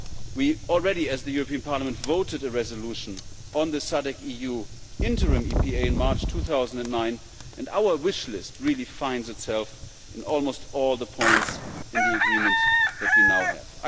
We already, as the European Parliament, voted a resolution on the SADC EU interim EPA in March 2009 and our wish list really finds itself in almost all the points in the agreement that we now have.